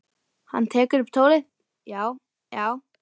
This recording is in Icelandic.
Hann tekur upp tólið: Já, já.